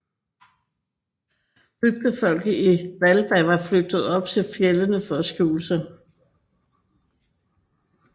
Bygdefolket i Hvalba var flygtet op i fjeldene for at skjule sig